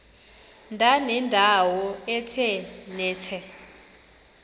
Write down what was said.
ndanendawo ethe nethe